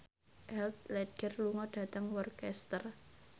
Heath Ledger lunga dhateng Worcester